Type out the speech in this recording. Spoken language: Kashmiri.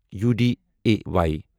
یوٗ ڈے اے واے